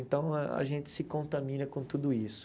Então, a gente se contamina com tudo isso.